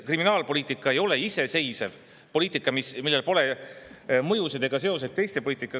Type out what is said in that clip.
Kriminaalpoliitika ei ole iseseisev poliitika, millel pole mõju teistele poliitikatele ega seost nendega.